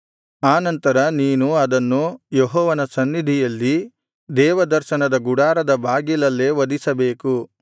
ಆ ನಂತರ ನೀನು ಅದನ್ನು ಯೆಹೋವನ ಸನ್ನಿಧಿಯಲ್ಲಿ ದೇವದರ್ಶನದ ಗುಡಾರದ ಬಾಗಿಲಲ್ಲೇ ವಧಿಸಬೇಕು